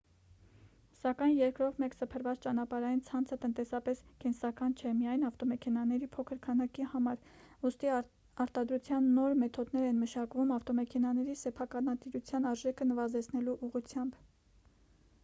սակայն երկրով մեկ սփռված ճանապարհային ցանցը տնտեսապես կենսական չէ միայն ավտոմեքենաների փոքր քանակի համար ուստի արտադրության նոր մեթոդներ են մշակվում ավտոմեքենաների սեփականատիրության արժեքը նվազեցնելու ուղղությամբ